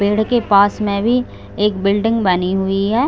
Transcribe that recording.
पेड़ के पास में भी एक बिल्डिंग बनी हुई है।